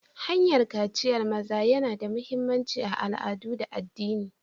Hanyar kaciyar maza yana da mahimmanci a al'adu da addini.